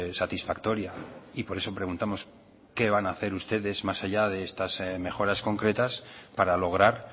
satisfactoria y por eso preguntamos qué van a hacer ustedes más allá de estas mejoras concretas para lograr